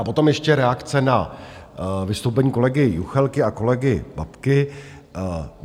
A potom ještě reakce na vystoupení kolegy Juchelky a kolegy Babky.